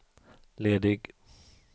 ledig